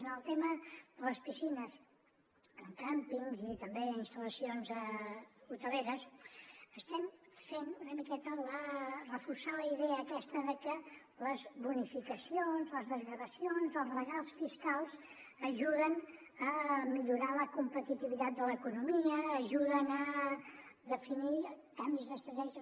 en el tema de les piscines en càmpings i també en instal·lacions hoteleres estem fent una miqueta reforçar la idea aquesta de que les bonificacions les desgravacions els regals fiscals ajuden a millorar la competitivitat de l’economia ajuden a definir canvis d’estratègies